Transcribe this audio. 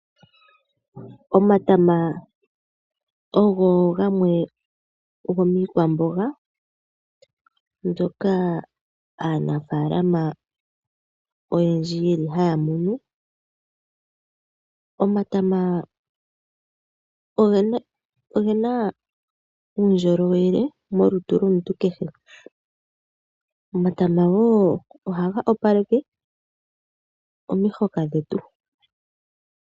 Omatama ogo gamwe gomiikwamboga mbyoka aanafaalama oyendji haya munu. Omatama oge na uundjolowele monkalamwenyo yomuntu kehe. Omatama wo ohaga towaleke omihoka dhetu.